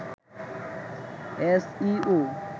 S E O